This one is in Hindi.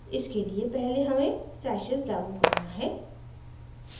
इसके लिए पहले हमें stashes लागू करना है